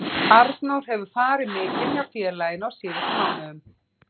Arnór hefur farið mikinn hjá félaginu á síðustu mánuðum.